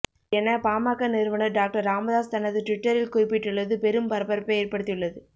என பாமக நிறுவனர் டாக்டர் ராமதாஸ் தனது டுவிட்டரில் குறிப்பிட்டுள்ளது பெரும் பரபரப்பை ஏற்படுத்தியுள்ளது